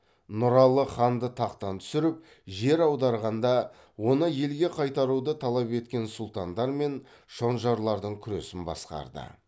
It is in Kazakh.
нұралы ханды тақтан түсіріп жер аударғанда оны елге қайтаруды талап еткен сүлтандар мен шонжарлардың күресін басқарды